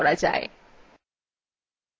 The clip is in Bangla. দেখা যাক এটি কিভাবে করা যায়